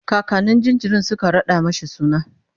kakannin jinjirin Suka raɗa mashi suna